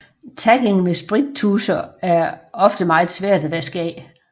Tagging med sprittuscher er ofte meget svært at vaske af